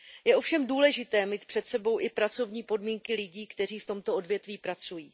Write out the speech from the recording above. Je ovšem důležité mít před sebou i pracovní podmínky lidí, kteří v tomto odvětí pracují.